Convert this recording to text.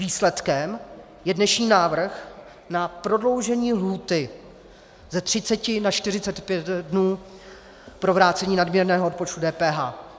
Výsledkem je dnešní návrh na prodloužení lhůty z 30 na 45 dnů pro vrácení nadměrného odpočtu DPH.